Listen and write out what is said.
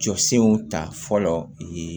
Jɔ senw ta fɔlɔ ye